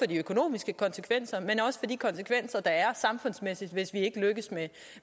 de økonomiske konsekvenser men også for de samfundsmæssige hvis vi ikke lykkes